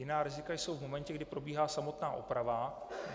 Jiná rizika jsou v momentě, kdy probíhá samotná oprava.